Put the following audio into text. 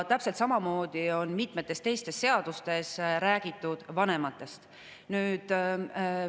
Täpselt samamoodi on mitmetes teistes seadustes räägitud vanematest.